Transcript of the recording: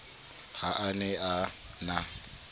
ha a ne a na